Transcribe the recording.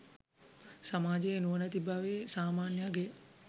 සමාජයේ නුවණැති බවේ සාමාන්‍ය අගය